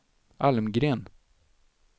Almgren